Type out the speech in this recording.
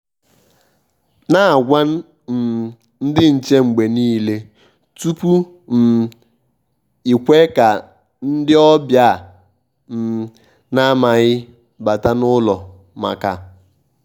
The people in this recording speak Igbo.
nà-ágwà um ndị́ nchè mgbe nìile tupu ị́ um kwè kà ndị́ ọ́bị̀à à um na-àmághị̀ bàtá n’ụ́lọ̀ màkà.